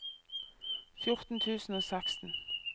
fjorten tusen og seksten